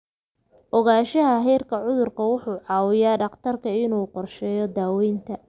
Ogaanshaha heerka cudurka wuxuu caawiyaa dhakhtarka inuu qorsheeyo daaweynta.